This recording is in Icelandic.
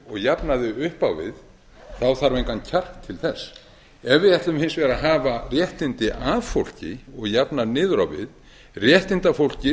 jafna þau upp á við þá þarf engan kjark til þess ef við ætlum hins vegar að hafa réttindi af fólki og jafna niður á við réttindafólki